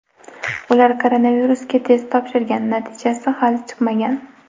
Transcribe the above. Ular koronavirusga test topshirgan, natija hali chiqmagan.